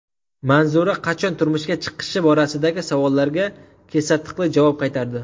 Manzura qachon turmushga chiqishi borasidagi savollarga kesatiqli javob qaytardi.